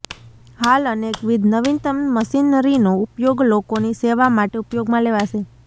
હાલ અનેકવિધ નવીનતમ મશીનરીનો ઉપયોગ લોકોની સેવા માટે ઉપયોગમાં લેવાશે